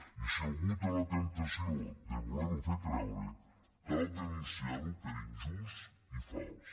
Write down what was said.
i si algú té la temptació de voler ho fer creure cal denunciar ho per injust i fals